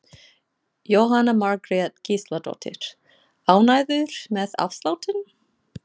Jóhanna Margrét Gísladóttir: Ánægður með afsláttinn?